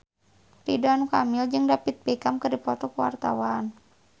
Ridwan Kamil jeung David Beckham keur dipoto ku wartawan